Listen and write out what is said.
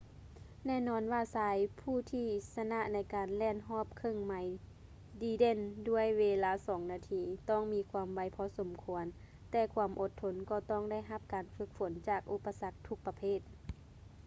ແນ່ນອນວ່າຊາຍຜູ້ທີ່ຊະນະໃນການແລ່ນຮອບເຄິ່ງໄມລດີເດັ່ນດ້ວຍເວລາສອງນາທີ ຕ້ອງມີຄວາມໄວພໍສົມຄວນ ແຕ່ຄວາມອົດທົນກໍຕ້ອງໄດ້ຮັບການຝຶກຝົນຈາກອຸປະສັກທຸກປະເພດ